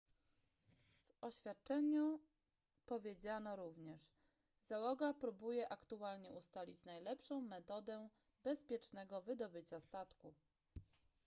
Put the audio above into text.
w oświadczeniu powiedziano również załoga próbuje aktualnie ustalić najlepszą metodę bezpiecznego wydobycia statku